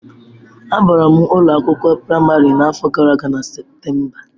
Abara m ụlọ akwụkwọ praịmarị n'afọ gara aga na Septemba.